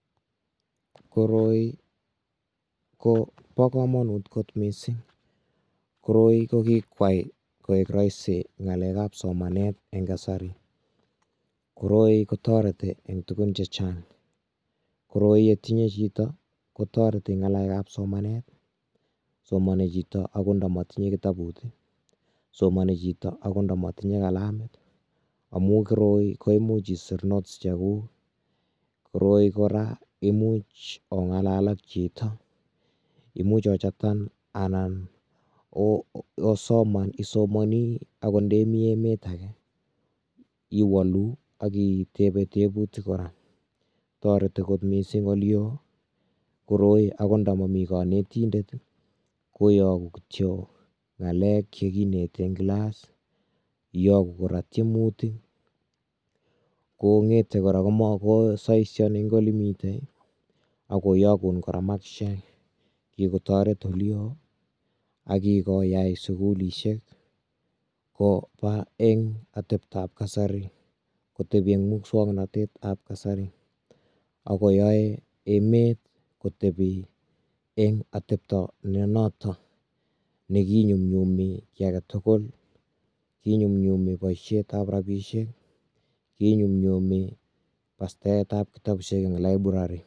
koroi ko Bo komonut kot missing koroi ko kikwai koik roisi ngalekab somanet eng kasari, koroi kotoretii eng tuguun chechang, koroi yetinye chito kotoreti eng ngalekab somanet, somonii chito okot ndomitinye kitabut, somoni chito akot ndomotinye kalamit amun koroi koimuch isir notes chekuk, koroi kora koimuch ongalal ak chito imuch ochaten, imuch osoman isomoni akot ndemi emet age iwoluu ak itebee tebuutik kora. Toreti kora missing akot ndo momi konetindet, iyoktoi ngalek chekinete en kilas ak tiemutik ak saisain eng elemii ak koyokuun kora makisisiek kikotoreet eleo ak kiyai sugulisiek koba eng atebtaab kasari, koteeben musoknotetab kasari ak koyoe emet kotebi eng atebtoo nenoton nekinyumyum boishet ab rabisiek